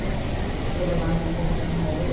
Eu estou levando, vou com um modelo